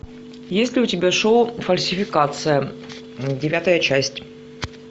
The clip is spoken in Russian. есть ли у тебя шоу фальсификация девятая часть